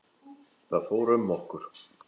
Það fór um okkur.